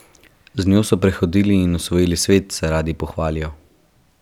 Z njo so prehodili in osvojili svet, se radi pohvalijo.